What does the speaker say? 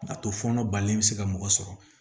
A to fɔnɔ balilen bɛ se ka mɔgɔ sɔrɔ